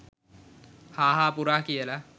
හා හා පුරා කියල